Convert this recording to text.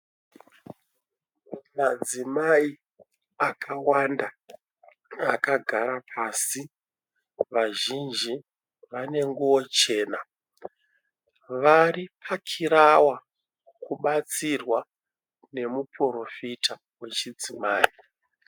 Madzimai akawanda akagara pasi vazhinji vane nguwo chena varipakirawa kubatsirwa nemuporofita wechidzimai.